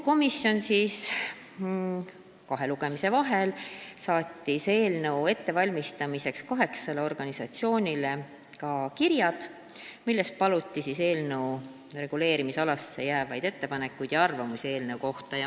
Komisjon saatis kahe lugemise vahel eelnõu ettevalmistamiseks kaheksale organisatsioonile kirja, milles paluti ettepanekuid ja arvamusi eelnõu reguleerimisala kohta.